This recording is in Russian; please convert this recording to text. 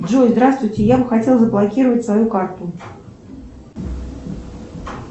джой здравствуйте я бы хотела заблокировать свою карту